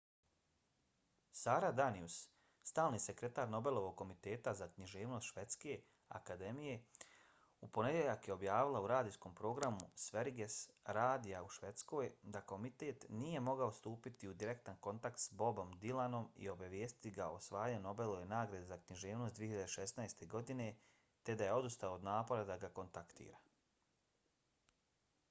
sara danius stalni sekretar nobelovog komiteta za književnost švedske akademije u ponedjeljak je objavila u radijskom programu sveriges radija u švedskoj da komitet nije mogao stupiti u direktan kontakt s bobom dylanom i obavijestiti ga o osvajanju nobelove nagrade za književnost 2016. godine te da je odustao od napora da ga kontaktira